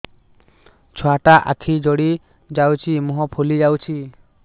ଛୁଆଟା ଆଖି ଜଡ଼ି ଯାଉଛି ମୁହଁ ଫୁଲି ଯାଉଛି